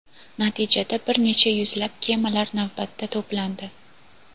Natijada, bir necha yuzlab kemalar navbatda to‘plandi.